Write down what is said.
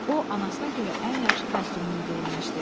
O anasına görə ən yaxşı kostyumunu geyinmişdi.